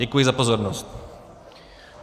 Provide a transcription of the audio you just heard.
Děkuji za pozornost.